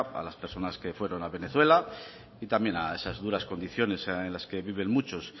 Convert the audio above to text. a las personas que fueron a venezuela y también a esas duras condiciones en las que viven muchos